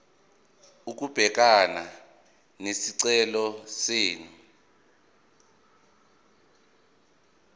ukubhekana nesicelo senu